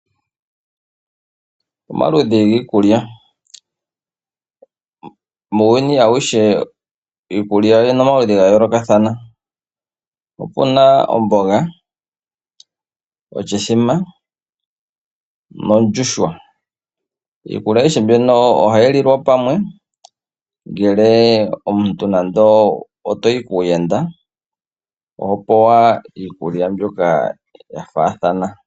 Omaludhi giikulya Muuyuni auhe iikulya oyi li pamaludhi ga yoolokathana. Opu na omboga, oshithima nondjuhwa. Iikulya ayihe mbino ohayi lilwa pamwe ngele omuntu nande owa yi kuuyenda oho pewa iikulya mbyoka.